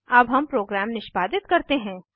अब हम प्रोग्राम निष्पादित करते हैं